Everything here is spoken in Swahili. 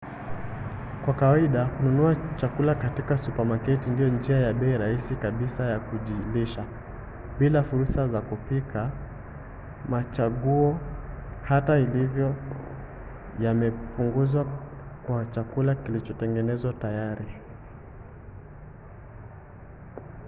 kwa kawaida kununua chakula katika supamaketi ndiyo njia ya bei rahisi kabisa ya kujilisha. bila fursa za kupika machaguo hata hivyo yamepunguzwa kwa chakula kilichotengenezwa tayari